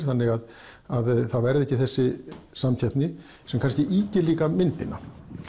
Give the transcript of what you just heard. þannig að það verði ekki þessi samkeppni sem kannski ýkir líka myndina